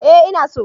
Eh ina so